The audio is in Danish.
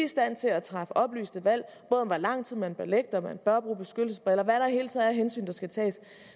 stand til at træffe oplyste valg om både hvor lang tid man bør ligge om man bør bruge beskyttelsesbriller altså er af hensyn der skal tages